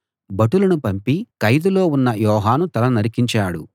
భటులను పంపి ఖైదులో ఉన్న యోహాను తల నరికించాడు